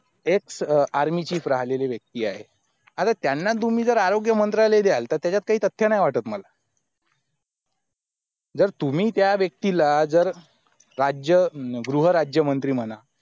army chief राहिलेले व्यक्ती आहे आता त्यांना तुम्ही जर आरोग्य मंत्रालय द्याल तर त्याच्यात काही तथ्य नाय वाटतं मला जर तुम्ही त्या व्यक्तीला जर राज्य गृहराज्यमंत्री म्हणा